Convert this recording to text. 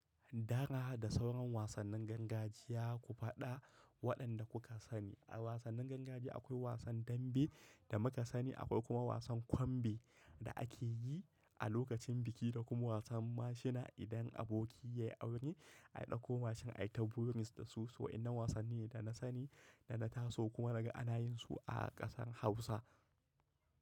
Dara da sauran wasannin gargajiya ku faɗa waɗanda kuka sani. A wasannin gangajiya akwai wasan dambe da muka sani, akwai kuma wasan kwambe da ake yi a lokacin biki da kuma wasan mashina. Idan aboki ya yi aure, a ɗauko mashin ai ta burus da su. Waɗannan wasanni ne da na sani da na taso kuma na ga ana yin su a ƙasar Hausa.